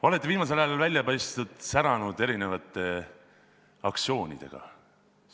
Olete viimasel ajal välja paistnud, säranud erinevate aktsioonidega.